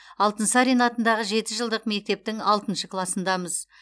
алтынсарин атындағы жеті жылдық мектептің алтыншы класындамыз